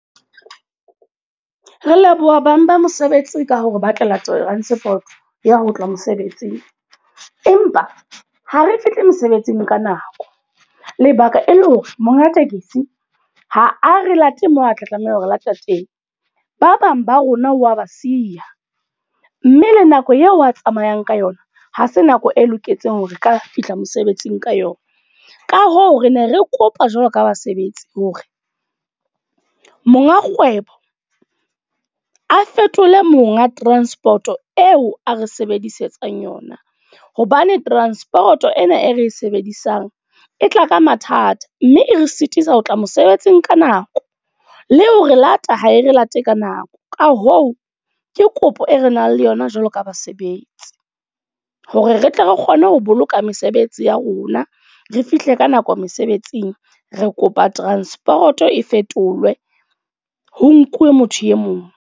Re leboha bang ba mosebetsi ka hore batlela transport, ya ho tloha mosebetsing. Empa ha re fihli mosebetsing ka nako. Lebaka e le hore, monga tekesi ha a re late moo a tla tlameha hore lata teng. Ba bang ba rona wa ba siya. Mme le nako eo a tsamayang ka yona, ha se nako e loketseng hore ka fihla mosebetsing ka yona. Ka hoo, re ne re kopa jwalo ka basebetsi hore, monga kgwebo a fetole monga transport o eo a re sebedisetsang yona. Hobane transport ena e re e sebedisang, e tla ka mathata. Mme e re sitisa ho tla mosebetsing ka nako. Le ho re lata ha e re late ka nako. Ka hoo, ke kopo e re nang le yona jwalo ka basebetsi. Hore re tle re kgone ho boloka mesebetsi ya rona. Re fihle ka nako mesebetsing. Re kopa transport e fetolwe ho nkuwe motho e mong.